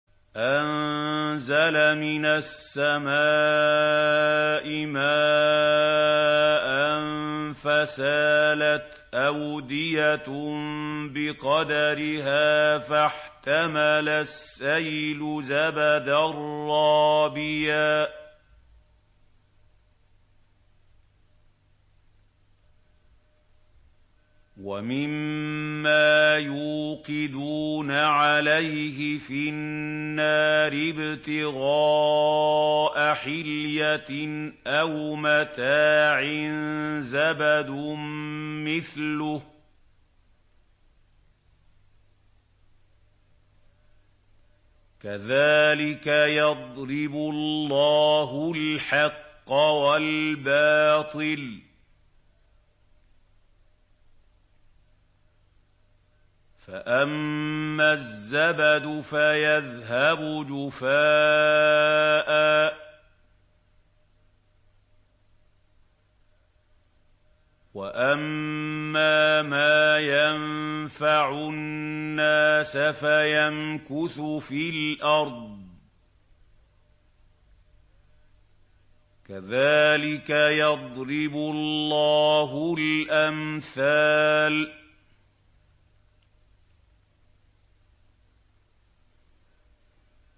أَنزَلَ مِنَ السَّمَاءِ مَاءً فَسَالَتْ أَوْدِيَةٌ بِقَدَرِهَا فَاحْتَمَلَ السَّيْلُ زَبَدًا رَّابِيًا ۚ وَمِمَّا يُوقِدُونَ عَلَيْهِ فِي النَّارِ ابْتِغَاءَ حِلْيَةٍ أَوْ مَتَاعٍ زَبَدٌ مِّثْلُهُ ۚ كَذَٰلِكَ يَضْرِبُ اللَّهُ الْحَقَّ وَالْبَاطِلَ ۚ فَأَمَّا الزَّبَدُ فَيَذْهَبُ جُفَاءً ۖ وَأَمَّا مَا يَنفَعُ النَّاسَ فَيَمْكُثُ فِي الْأَرْضِ ۚ كَذَٰلِكَ يَضْرِبُ اللَّهُ الْأَمْثَالَ